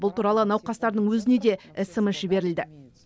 бұл туралы науқастардың өзіне де смс жіберілді